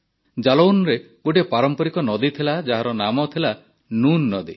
ଜାଲୌନରେ ଗୋଟିଏ ପାରମ୍ପରିକ ନଦୀ ଥିଲା ଯାହାର ନାମ ଥିଲା ନୁନ୍ ନଦୀ